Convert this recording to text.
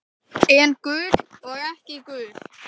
En gul og ekki gul.